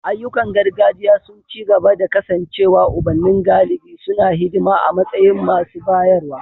Ayyukan gargajiya sun ci gaba da kasancewa ubanni galibi suna hidima a matsayin masu bayarwa.